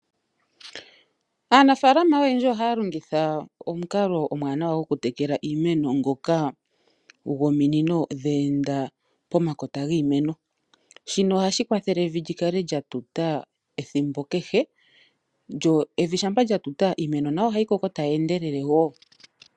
Aanafaalama oyendji ohaya longitha omukalo omuwanawa gokutekela iimeno ngoka gominino dhe enda pomakota giimeno. Shika ohashi kwathele evi li kale lya tuta ethimbo kehe, lyo evi shampa lya tuta iimeno nayo ohayi kokelele.